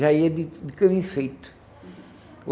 Já ia de de caminho feito.